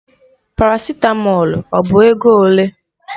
Parasitamọlu ọ bụ ego ole?